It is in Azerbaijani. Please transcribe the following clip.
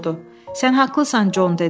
Sən haqqlısan Jon dedi.